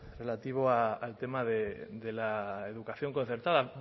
relativa al tema de la educación concertada